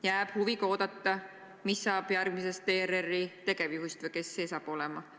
Jääb huviga oodata, mis saab järgmisest ERR-i tegevjuhist või kes see saab olema.